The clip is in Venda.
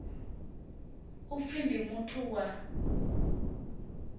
u pfi ndi muthu wa